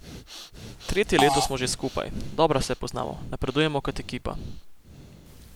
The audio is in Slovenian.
Tretje leto smo že skupaj, dobro se poznamo, napredujemo kot ekipa.